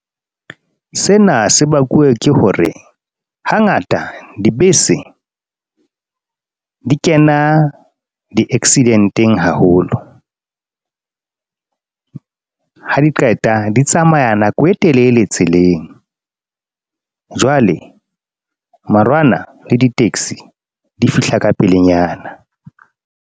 Sena se bakuwe ke hore hangata dibese di kena di-accident-eng haholo, ha di qeta di tsamaya nako e telele tseleng. Jwale marwana le di-taxi di fihla ka pelenyana.